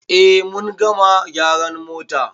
Eh mun gama gyara mota.